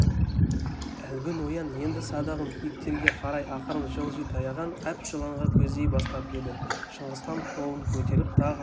әлгі ноян енді садағын киіктерге қарай ақырын жылжи таяған әп жыланға көздей бастап еді шыңғысхан қолын көтеріп тағы